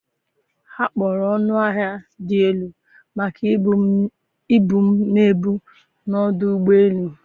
ha kpọrọ ọnụ ahịa dị elu maka ibu m na-ebu n’ọdụ ụgbọ elu